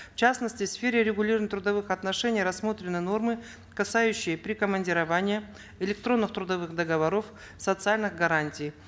в частности в сфере регулирования трудовых отношений рассмотрены нормы прикомандирования электронных трудовых договоров социальных гарантий